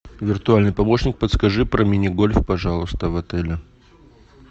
виртуальный помощник подскажи про мини гольф пожалуйста в отеле